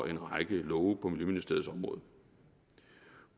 en række love på miljøministeriets område